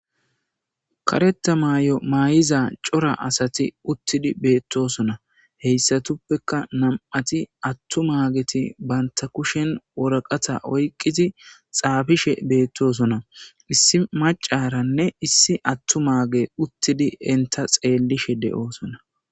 Kareta maay7o maayiza cora asati uttidi beettosona heyssatuppeka nam7ati attu maageti banta kushen woraqata oyqqizi xaabishe beettosona issi macaranne issi attu maage uttidi enta xeellishe de7oosona